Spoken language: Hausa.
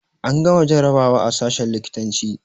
An gama jarabawa a sashen likitanci